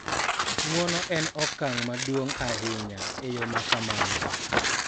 Ng�uono en okang� maduong� ahinya e yo ma kamano